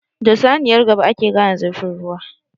Da saniyar gaba ake gane zurfin ruwa.